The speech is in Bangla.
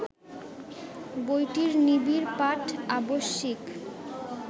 বইটির নিবিড় পাঠ আবশ্যিক